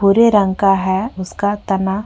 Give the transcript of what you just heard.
भूरे रंग का है उसका तना --